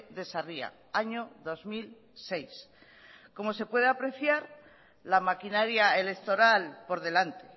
de sarria año dos mil seis como se puede apreciar la maquinaria electoral por delante